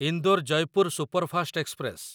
Indore Jaipur superfast express